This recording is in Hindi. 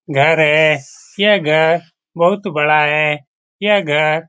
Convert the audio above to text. घर है यह घर बहुत बड़ा है यह घर --